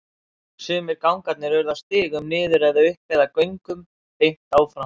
Sumir gangarnir urðu að stigum niður eða upp eða göngum beint áfram.